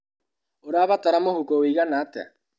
ũrabatara mũhũko wĩigana atĩa?